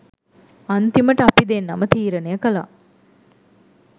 අන්තිමට අපි දෙන්නම තීරණය කළා